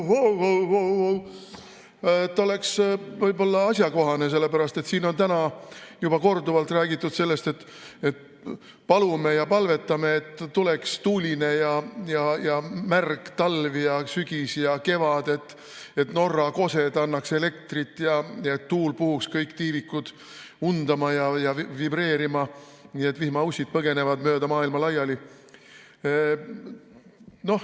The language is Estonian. See oleks võib-olla asjakohane, sellepärast et siin on täna juba korduvalt räägitud sellest, et palume ja palvetame, et tuleks tuuline ja märg talv ja sügis ja kevad, et Norra kosed annaks elektrit ja tuul puhuks kõik tiivikud undama ja vibreerima, nii et vihmaussid põgeneksid mööda maailma laiali.